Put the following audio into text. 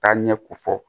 Taa ɲɛ ko fɔ